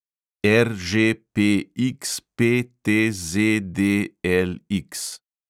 RŽPXPTZDLX